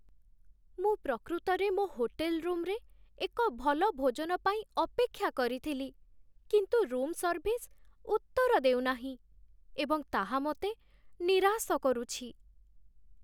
ମୁଁ ପ୍ରକୃତରେ ମୋ ହୋଟେଲ ରୁମ୍‌ରେ ଏକ ଭଲ ଭୋଜନ ପାଇଁ ଅପେକ୍ଷା କରିଥିଲି, କିନ୍ତୁ ରୁମ୍ ସର୍ଭିସ୍ ଉତ୍ତର ଦେଉ ନାହିଁ ଏବଂ ତାହା ମୋତେ ନିରାଶ କରୁଛି